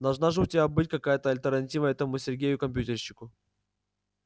должна же у тебя быть какая-то альтернатива этому сергею компьютерщику